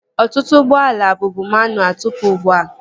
Ọtụtụ ụgbọala bụbu manualụ tụpụ ugbua